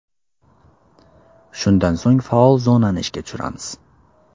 Shundan so‘ng faol zonani ishga tushiramiz.